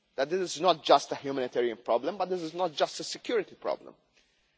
It is not just a humanitarian problem, but it is not just a security problem either.